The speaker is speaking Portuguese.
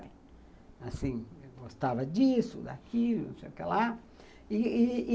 Assim, gostava disso, daquilo, não sei o que lá.